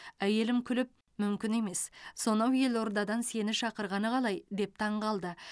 әйелім күліп мүмкін емес сонау елордадан сені шақырғаны қалай деп таңғалды